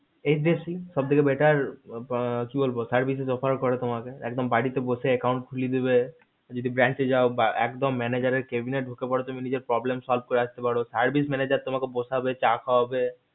HDFC সব থেকে better কি বলবো services offer করে তোমাকে একদম বাড়িতে বসে account খুলে দেবে যদি bank এ যায় manager এর cabin এ ঢুকে পারো তুমি নিজের problem solve আসতে পারো service manager তোমাকে বসবে চা খাওয়াবে